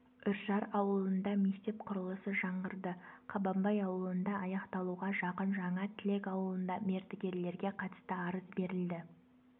үржар ауылында мектеп құрылысы жаңғырды қабанбай ауылында аяқталуға жақын жаңа тілек ауылында мердігерлерге қатысты арыз берілді